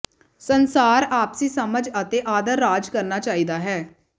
ਸੰਸਾਰ ਆਪਸੀ ਸਮਝ ਅਤੇ ਆਦਰ ਰਾਜ ਕਰਨਾ ਚਾਹੀਦਾ ਹੈ